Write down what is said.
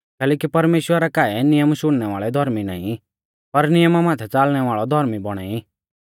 कैलैकि परमेश्‍वरा रै काऐ नियम शुणनै वाल़ै धौर्मी नाईं पर नियमा माथै च़ालणै वाल़ौ धौर्मी बौणा ई